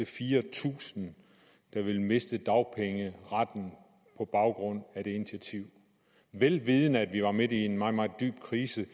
fire tusind der ville miste dagpengeretten på baggrund af det initiativ vel vidende at vi var midt i en meget meget dyb krise